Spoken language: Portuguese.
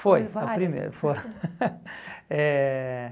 Foram várias? Foi, foi a primeira. Foram Eh